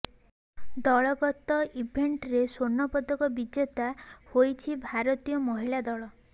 ଦଳଗତ ଇଭେଣ୍ଟରେ ସ୍ୱର୍ଣ୍ଣପଦକ ବିଜେତା ହୋଇଛି ଭାରତୀୟ ମହିଳା ଦଳ